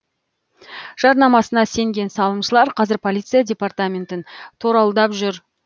жарнамасына сенген салымшылар қазір полиция департаментін торауылдап жүр